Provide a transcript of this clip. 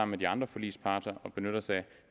med de andre forligsparter at benytte